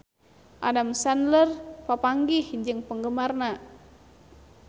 Adam Sandler papanggih jeung penggemarna